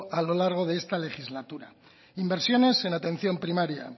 a lo largo de esta legislatura inversiones en atención primaria